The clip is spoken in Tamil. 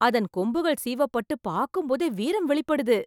அதன் கொம்புகள் சீவப்பட்டு பாக்கும் போதே வீரம் வெளிப்படுது.